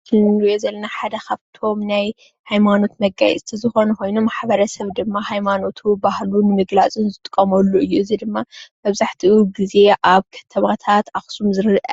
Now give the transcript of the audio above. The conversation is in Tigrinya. እቲ እንሪኦ ዘለና ሓደ ካብቶም ናይ ሃይማኖት መጋየፅታትን ዝኾነ ኾይኑ ማሕበረሰብ ድማ ሃይማኖቱ ባህሉ ዝገልፀሉ እንጥቀመሎም እዮም። እዚ ድማ መብዛሕትኡ ግዜ ኣብ ከተማታት ኣኽሱም ዝርአ